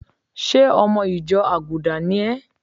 Ṣé ọmọ ìjọ àgùdà ni é?